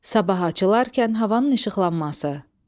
Sabah açılarkən havanın işıqlanması.